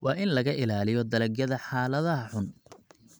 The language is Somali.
Waa in laga ilaaliyo dalagyada xaaladaha xun.